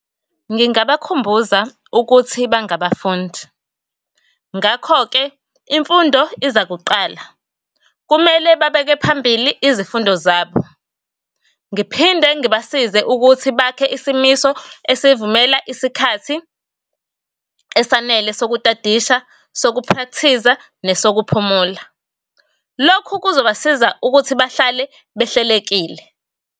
Ngingabakhumbuza ukuthi bangafundi, ngakho-ke imfundo iza kuqala. Kumele babeke phambili izifundo zabo. Ngiphinde ngibasize ukuthi bakhe isimiso esivumela isikhathi esanele sokutadisha, sokuprakthiza, nesokuphumula. Lokhu kuzobasiza ukuthi bahlale behlelekile.